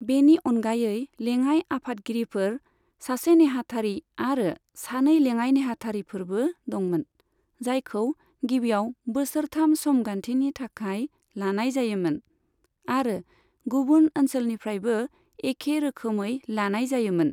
बेनि अनगायै लेङाय आफादगिरिफोर, सासे नेहाथारि आरो सानै लेङाय नेहाथारिफोरबो दंमोन, जायखौ गिबियाव बोसोरथाम समगान्थिनि थाखाय लानाय जायोमोन, आरो गुबुन ओनसोलनिफ्रायबो एखे रोखोमै लानाय जायोमोन।